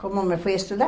Como me fui estudar?